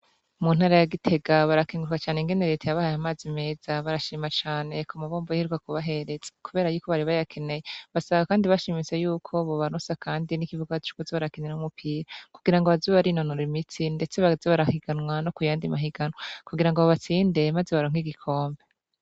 Mu ntara ya Gitega barakenguruka cane ingene Leta yabahaye amazi meza barashima cane ku mabomba iheruka kubahereza kubera yuko bari bayakeneye. Basaba kandi bashimitse yuko bobaronsa kandi n'ikibuga co kuza barakiniramwo umupira, kugirango baze barinonora imitsi ndetse baze barahiganwa no ku yandi mahiganwa kugirango babatsinde maze baronke igikombe.